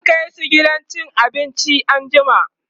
zan kaisu gidan cin abinci anjima